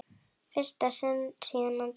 fyrsta sinn síðan hann dó.